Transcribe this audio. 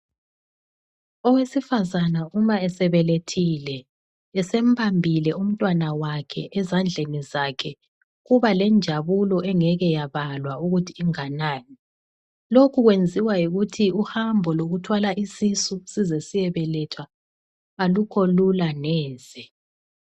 Owesifazana uma esebelethile esembambile umtwana wakhe ezandleni zakhe kuba lenjabulo engeke yabalwa ukuthi inganani, lokhu kwenziwa yikuthi uhambo lokuthwala isisu size siyebelethwa alukho lula neze.